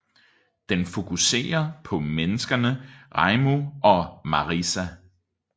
Den fokusere på menneskerne Reimu og Marisa